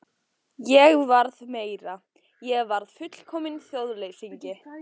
Ég varð meira: Ég varð fullkominn þjóðleysingi.